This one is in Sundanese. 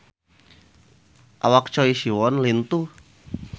Awak Choi Siwon lintuh